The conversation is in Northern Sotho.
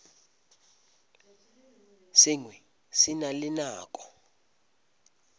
sengwe se na le nako